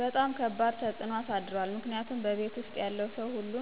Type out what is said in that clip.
በጣም ከባድ ተፅኖ እሳድሯል ምክንያቱም በቤት ውስጥ ያለው ሰው ሁሉ